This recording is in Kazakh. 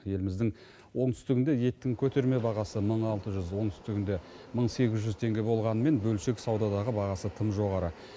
еліміздің оңтүстігінде еттің көтерме бағасы мың алты жүз оңтүстігінде мың сегіз жүз теңге болғанымен бөлшек саудадағы бағасы тым жоғары